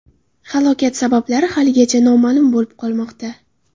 Halokat sabablari haligacha noma’lum bo‘lib qolmoqda.